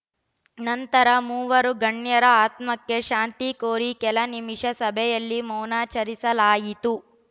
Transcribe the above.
ನಂತರ ಮೂವರೂ ಗಣ್ಯರ ಆತ್ಮಕ್ಕೆ ಶಾಂತಿ ಕೋರಿ ಕೆಲ ನಿಮಿಷ ಸಭೆಯಲ್ಲಿ ಮೌನಾಚರಿಸಲಾಯಿತು